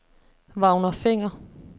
Vagner Fenger